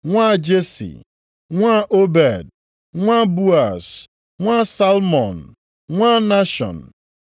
nwa Jesi, nwa Obed, nwa Boaz, nwa Salmọn, nwa Nashọn;